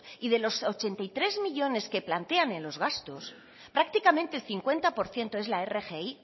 y de los ochenta y tres millónes que plantean en los gastos prácticamente el cincuenta por ciento es la rgi